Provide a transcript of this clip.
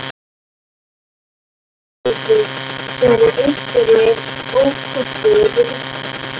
Hrund Þórsdóttir: Eru einhverjir ókostir við þetta?